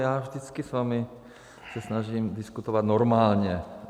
Já vždycky s vámi se snažím diskutovat normálně.